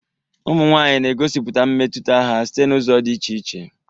Ụmụ nwanyị na-egosipụta mmetụta ha site n'ụzọ dị iche iche.